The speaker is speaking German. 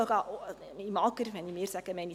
Wenn ich sage, meine ich das AGR.